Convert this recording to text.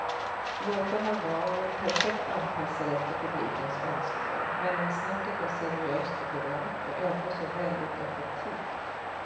Låtarna var perfekt anpassade efter publikens önskemål, mellansnacket var seriöst och rart och ändå så väldigt effektivt.